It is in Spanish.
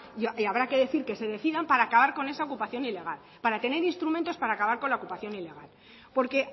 y habrá que decir que se decidan para acabar con esa ocupación ilegal para tener instrumentos para acabar con la ocupación ilegal porque